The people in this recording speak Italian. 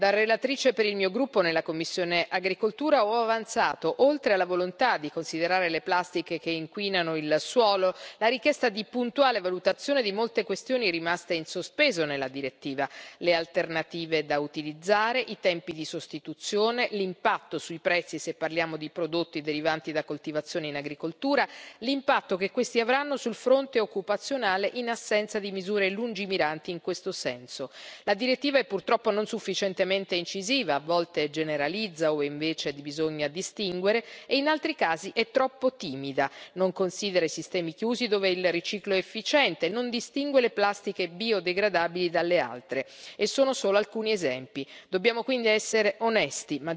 Da relatrice per il mio gruppo nella commissione AGRI ho avanzato, oltre alla volontà di considerare le plastiche che inquinano il suolo, la richiesta di puntuale valutazione di molte questioni rimaste in sospeso nella direttiva le alternative da utilizzare, i tempi di sostituzione, l'impatto sui prezzi se parliamo di prodotti derivanti da coltivazioni in agricoltura, l'impatto che questi avranno sul fronte occupazionale in assenza di misure lungimiranti in questo senso. La direttiva è purtroppo non sufficientemente incisiva, a volte generalizza dove invece bisogna distinguere e in altri casi è troppo timida, non considera i sistemi chiusi dove il riciclo è efficiente, non distingue le plastiche biodegradabili dalle altre, e sono solo alcuni esempi. Dobbiamo quindi essere onesti.